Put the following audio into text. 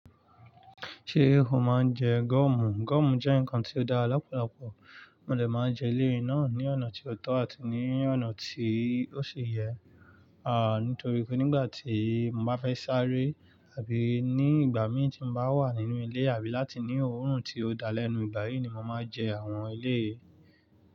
Ṣé o máa ń jẹ goomù? Goọ̀mù jẹ́ ǹkan tí ó dára lọ́pọ̀lọpọ̀, mo dè máa jẹ eleyi náà ní ọ̀nà tí ó tọ́ àti ní ọ̀nà tí ó yẹ, àti nítorí pé nígbà tí mo bá fẹ́ sáré àbí ní ìgbà mí tí mo bá wà nínú ilé àbí láti ní òórùn tí ó dá lẹ́nu, ìgbà yìí ni mo máa jẹ àwọn elé yìí.